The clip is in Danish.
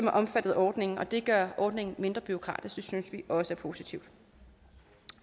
er omfattet af ordningen det gør ordningen mindre bureaukratisk det synes vi også er positivt